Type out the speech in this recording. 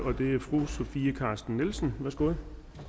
og det er fru sofie carsten nielsen værsgo